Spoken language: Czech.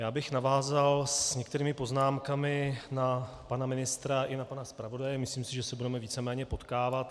Já bych navázal s některými poznámkami na pana ministra i na pana zpravodaje, myslím si, že se budeme víceméně potkávat.